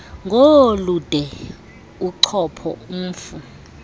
ngoolude uchopho umf